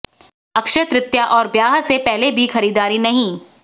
अक्षय तृतीया और ब्याह से पहले भी खरीदारी नहीं